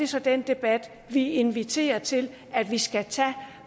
så den debat vi inviterer til at vi skal tage